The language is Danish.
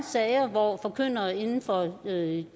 sager hvor forkyndere inden for det